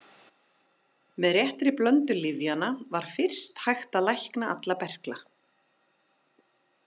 Með réttri blöndu lyfjanna var fyrst hægt að lækna alla berkla.